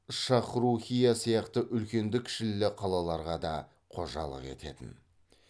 шахрухийя сияқты үлкенді кішілі қалаларға да қожалық ететін